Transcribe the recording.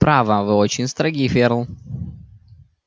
право вы очень строги ферл